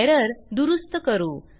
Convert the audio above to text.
error दुरूस्त करू